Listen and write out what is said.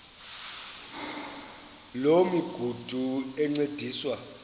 loo migudu encediswa